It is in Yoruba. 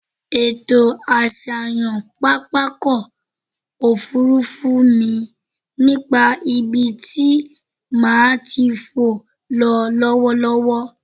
Ètò àṣàyàn pápákọ̀-òfurufú mi nípa ibi tí màá ti fò ń lọ lọ́wọ́lọ́wọ́.